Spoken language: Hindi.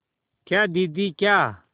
क्या दीदी क्या